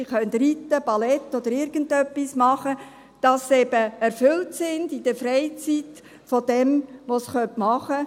Sie können reiten, Ballett oder irgendetwas machen, damit sie in der Freizeit, durch das was sie machen können, eben erfüllt sind.